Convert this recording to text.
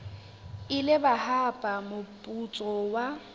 ile ba hapa moputso wa